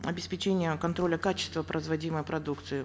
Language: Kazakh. обеспечения контроля качества производимой продукции